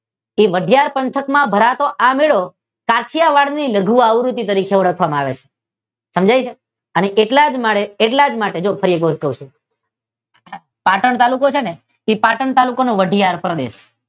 તે વાઢિયાર પંથક માં ભરાતો આ મેળો પાટણ કાઠીયાવાડ ની લઘુ આવૃતી તરીકે યાદ રાખવામા આવે છે. સમજાય છે. એટલા જ માટે ફરી એક વાર કહું છું. પાટણ તાલુકો છે તે પાટણ તાલુકાનો વાઢિયાર પ્રદેશ